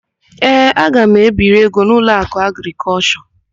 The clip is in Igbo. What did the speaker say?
Ee, aga m ebiri ego n'Ụlọakụ Agrịkọlshọ.